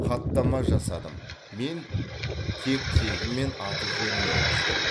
хаттама жасадым мен тек тегі мен аты жөнін енгіздім